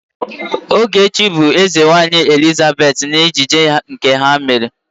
Ogechi bụ Ezenwaanyị Elizabet n'ejije nke ha mere.